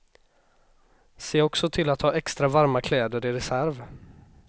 Se också till att ha extra varma kläder i reserv.